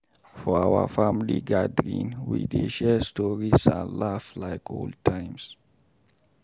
For our family gathering, we dey share stories and laugh like old times.